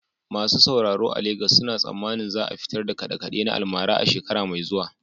Masu sauraro a Legas suna tsammanin za a fitar da kaɗe-kaɗe na almara a shekara mai zuwa.